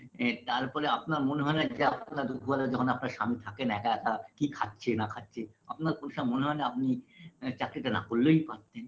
বে তার ফলে আপনার মনে হয় না যে আপনার দুঘরে ধন আপনার স্বামী থাকেন একা একা কি খাচ্ছে না খাচ্ছে আপনার ঐসব মনে হয় না আপনি এ চাকরিটা না করলেই পারতেন